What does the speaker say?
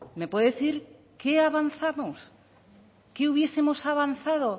me puede decir qué ha avanzado qué hubiesemos avanzado